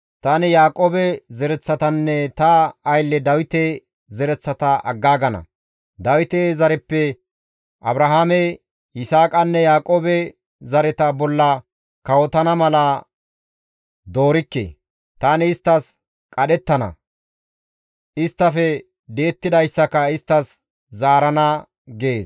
tani Yaaqoobe zereththatanne ta aylle Dawite zereththata aggaagana; Dawite zareppe Abrahaame, Yisaaqanne Yaaqoobe zareta bolla kawotana mala doorikke; tani isttas qadhettana; isttafe di7ettidayssaka isttas zaarana» gees.